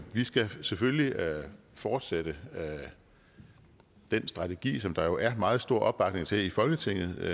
vi skal selvfølgelig fortsætte den strategi som der jo er meget stor opbakning til i folketinget